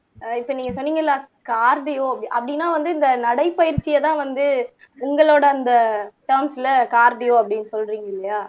ஆஹ் இப்ப நீங்க சொன்னீங்கல்ல கார்டியோ அப்படீன்னா வந்து இந்த நடைபயிற்சியைதான் வந்து உங்களோட அந்த சாங்ஸ்ல கார்டியோ அப்படின்னு சொல்றீங்க இல்லையா